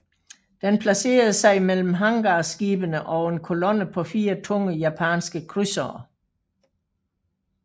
Den placerede sig mellem hangarskibene og en kolonne på fire tunge japanske krydsere